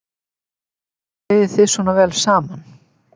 Af hverju eigið þið svona vel saman?